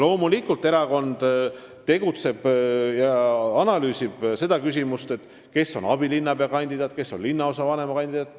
Loomulikult, erakond analüüsib seda, kes on kandidaadid abilinnapea ja kes linnaosavanema kohale.